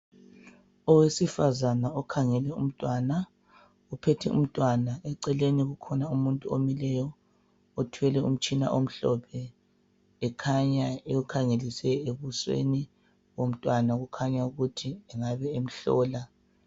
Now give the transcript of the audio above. Owesifazane okhangele umntwana, uphethe umntwana, eceleni kukhona umuntu omileyo othwele umtshina omhlophe, ekhanya ewukhangelise ebusweni bomntwana okukhanya ukuthi engabe emhlola.